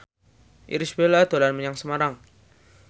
Irish Bella dolan menyang Semarang